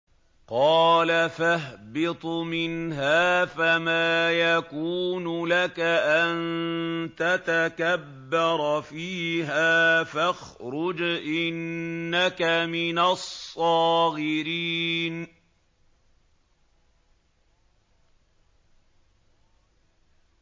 قَالَ فَاهْبِطْ مِنْهَا فَمَا يَكُونُ لَكَ أَن تَتَكَبَّرَ فِيهَا فَاخْرُجْ إِنَّكَ مِنَ الصَّاغِرِينَ